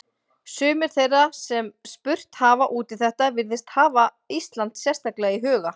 Sumir þeirra sem spurt hafa út í þetta virðast hafa Ísland sérstaklega í huga.